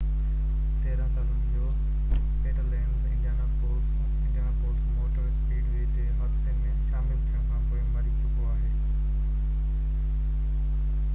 13 سالن جو Peter Lenz Indianapolis motor speedway تي حادثي ۾ شامل ٿيڻ کانپوءِ مري چڪو آهي